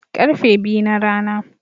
Karfe biyu na rana